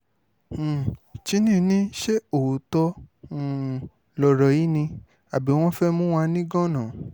um chinny ní ṣe òótọ́ um lọ̀rọ̀ yìí ni àbí wọ́n fẹ́ẹ̀ mú wa nígàn-án